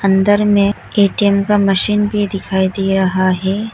अंदर में एक ए_टी_एम का मशीन भी दिखाई दे रहा है।